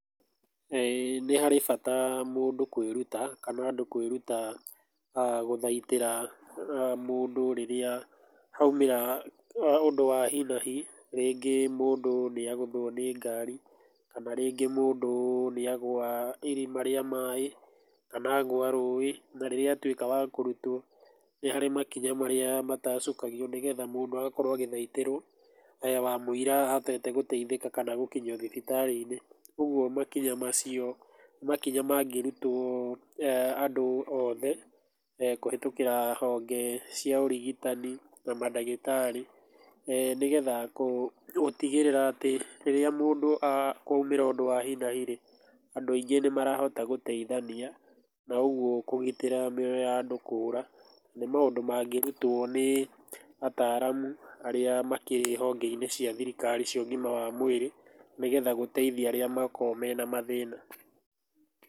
Nĩ harĩ bata mũndũ kwĩruta kana andũ kwĩruta gũthaitĩra mũndũ rĩrĩa haumĩra ũndũ wa hi na hi, rĩngĩ mũndũ nĩ agũthwo nĩ ngari, kana rĩngĩ mũndũ nĩagũa irima rĩa maĩ, kana agũa rũĩ, na rĩrĩa atuĩka wa kũrutwo nĩ harĩ makinya marĩa matacũkagio, nĩgetha mũndũ agakorwo agĩthaĩtĩrwo wamũira ahotete gũteithĩka kana gũkinyio thibitarĩ-inĩ. Ũguo makinya macio nĩ makinya mangĩrutwo andũ othe kũhĩtũkĩra honge cia ũrigitani na madagĩtarĩ, nĩgetha gũtigĩrĩra atĩ rĩrĩa mũndũ, kwoimĩra ũndũ wa hi na hi rĩ, andũ aingĩ nĩ marahota gũteithania na ũguo kũgĩtĩra mĩoyo ya andũ kũra, na nĩ maũndũ mangĩrutwo nĩ ataramu arĩa makĩrĩ honge-inĩ cia thirikari cia ũgima wa mwĩrĩ, nĩgetha gũteithia arĩa makoragwo mena mathĩna.